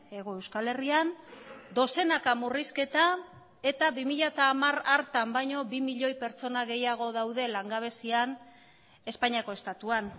hego euskal herrian dozenaka murrizketa eta bi mila hamar hartan baino bi milioi pertsona gehiago daude langabezian espainiako estatuan